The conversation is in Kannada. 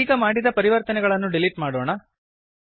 ಈದೀಗ ಮಾಡಿದ ಪರಿವರ್ತನೆಗಳನ್ನು ಡಿಲೀಟ್ ಮಾಡೋಣ